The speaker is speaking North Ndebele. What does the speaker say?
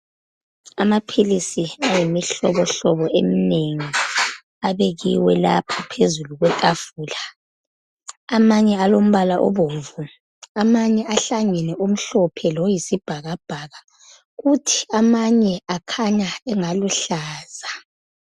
Amaphilisi ayimihlobo hlobo eminengi, abekiwe lapha phazulu kwetafula. Amanye alombala obomvu, amanye ahlangene omhlophe loyisibhakabhaka kuthi amanye akhanya engaluhlaza.